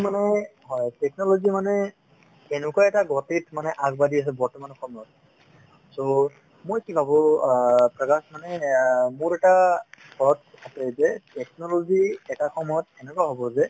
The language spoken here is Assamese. মানে হয় technology মানে এনেকুৱা এটা গতিত মানে আগবাঢ়ি আছে বৰ্তমান সময়ত so মই কি ভাবো অ মানে অ মোৰ এটা আছে যে technology এটা সময়ত এনেকুৱা হ'ব যে